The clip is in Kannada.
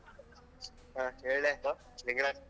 ಹ ಹೇಳ್ಲೇಪಾ ಲಿಂಗರಾಜ್.